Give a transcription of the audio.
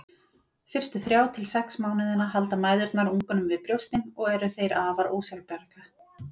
Fyrstu þrjá til sex mánuðina halda mæðurnar ungunum við brjóstin og eru þeir afar ósjálfbjarga.